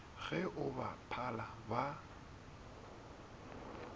ge o ba phala ba